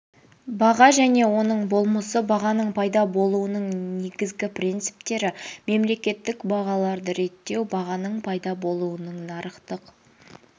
баға және оның болмысы бағаның пайда болуының негіздігі принциптері мемлекеттік бағаларды реттеу бағаның пайда болуының нарықтық